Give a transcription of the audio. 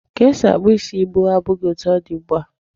Ka esi akpụ isi gboo abụghị etu ọ dị ugbu a.